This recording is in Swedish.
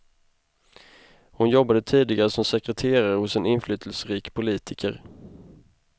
Hon jobbade tidigare som sekreterare hos en inflytelserik politiker.